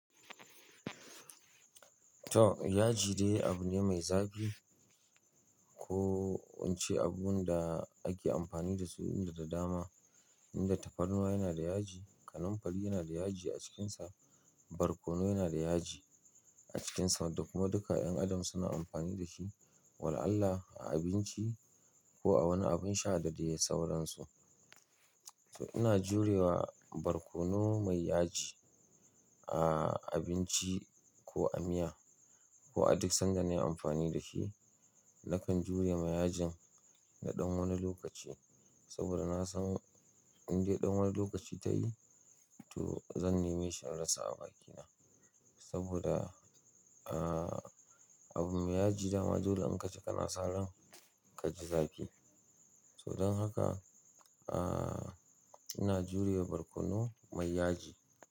To yaji dai abu ne mai zafi. Ko wance abun da ake amfani da su inda da dama, inda tafarnuwa yana da yaji, kanamfari yana da yaji a cikinsa, barkono yana da yaji a cikinsa da kuma duka 'yan adam suna amfani da shi. Wala allah a abinci ko a wani abin sha da dai sauransu. To ina jurewa barkono mai yaji a abinci ko a miya ko a duk sanda na yi amfani da shi. Nakan jure ma yajin na ɗan wani lokaci saboda na san in dai ɗan wani lokaci ta yi, to zan neme shi in rasa a bakina. Saboda, ah, abin mai yaji dama dole in ka ci kana sa ran ka ji zaki. To dan aka in jure wa barkono mai yaji.